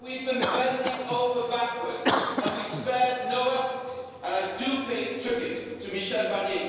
We've been bending over backwards and we spared no effort and I do pay tribute to Michel Barnier